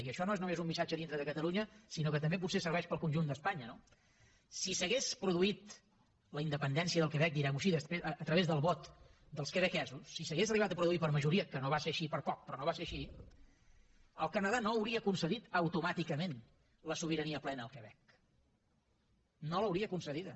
i això no és un missatge només dintre de catalunya sinó que també potser serveix per al conjunt d’espanya no si s’hagués produït la independència del quebec diguem ho així a través del vot dels quebequesos si s’hagués arribat a produir per majoria que no va ser així per poc però no va ser així el canadà no hauria concedit automàticament la sobirania plena al quebec no l’hauria concedida